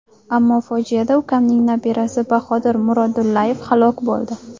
Ammo fojiada ukamning nabirasi Bahodir Murodullayev halok bo‘ldi.